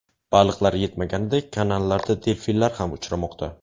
Baliqlar yetmaganidek, kanallarda delfinlar ham uchramoqda.